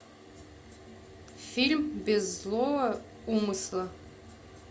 фильм без злого умысла